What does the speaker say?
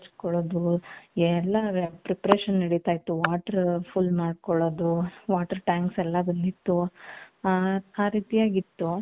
ಹೆಚ್ಕೊಲ್ಲೋದು ಎಲ್ಲಾ preparation ನಡಿತೈತು water full ಮಾಡ್ಕೊಳ್ಳೋದು water tanks ಎಲ್ಲಾ ಬಂದಿತು ಹ ರೀತಿ ಆಗಿ .